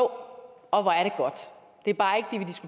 og det